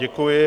Děkuji.